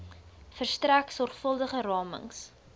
verstrek sorgvuldige ramings